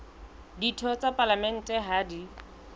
ditho tsa palamente ha di